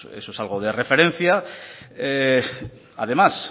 eso es algo de referencia además